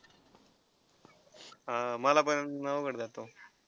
अं मला पण अवघड जातो.